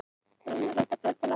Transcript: Reyna að leyna fjölda látinna